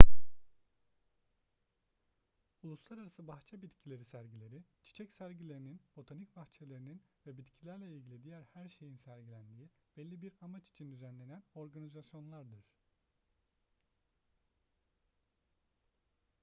uluslararası bahçe bitkileri sergileri çiçek sergilerinin botanik bahçelerinin ve bitkilerle ilgili diğer her şeyin sergilendiği belli bir amaç için düzenlenen organizasyonlardır